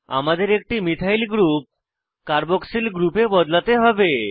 আমাদের একটি methyl group carboxyl গ্রুপে বদলাতে হবে